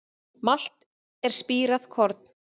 Malt er spírað korn.